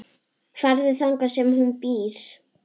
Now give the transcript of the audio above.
Farðu þangað sem hún býr.